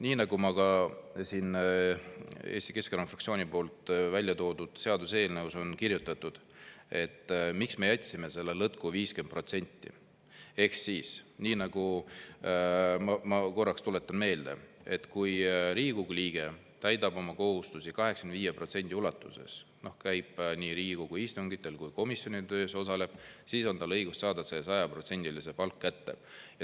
Nii nagu ka siin Eesti Keskerakonna fraktsiooni välja toodud seaduseelnõus on kirjutatud, et miks me jätsime selle lõtku, ehk, ma korraks tuletan meelde, kui Riigikogu liige täidab oma kohustusi 85% ulatuses, käib nii Riigikogu istungitel kui ka osaleb komisjoni töös, siis on tal õigus saada sajaprotsendiliselt palk kätte.